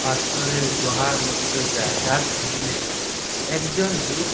পাথরের গুহার মতো জায়গার সামনে একজন লুক --